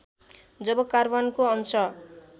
जब कार्बनको अंश